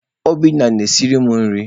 Obinna na-esiri m nri.